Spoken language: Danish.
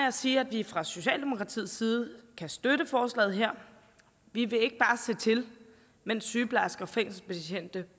at sige at vi fra socialdemokratiets side kan støtte forslaget her vi vil ikke bare se til mens sygeplejersker fængselsbetjente